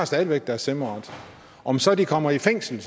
stadig væk deres stemmeret om så de kommer i fængsel